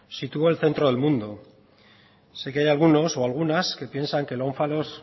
situó el centro del mundo sé que hay algunos o algunas que piensan que el ónfalos